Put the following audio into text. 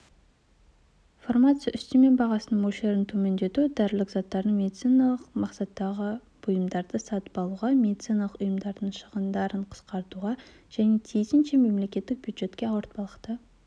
фармация үстеме бағасының мөлшерін төмендету дәрілік заттарды медициналық мақсаттағы бұйымдарды сатып алуға медициналық ұйымдардың шығындарын қысқартуға және тиісінше мемлекеттік бюджетке ауыртпалықты